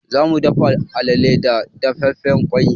Za mu dafa alale da dafaffen ƙwai.